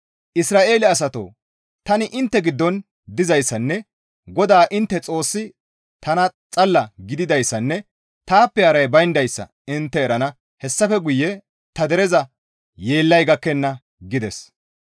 Isra7eele asatoo tani intte giddon dizayssanne GODAA intte Xoossi tana xalla gididayssanne taappe haray bayndayssa intte erana; hessafe guye ta dereza yeellay gakkenna» gides.